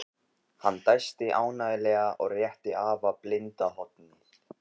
Hann dæsti ánægjulega og rétti afa blinda hornið.